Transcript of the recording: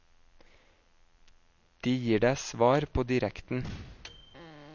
De gir deg svar på direkten.